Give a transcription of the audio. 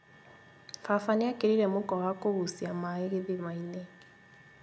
Baba nĩekĩrire mũkwa wa kũgucia maĩ gĩthima-inĩ